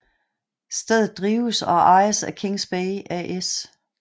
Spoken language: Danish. Stedet drives og ejes af Kings Bay AS